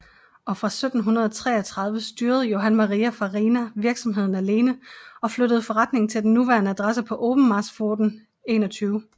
Og fra 1733 styrede Johann Maria Farina virksomheden alene og flyttede forretningen til den nuværende adresse på Obenmarspfoten 21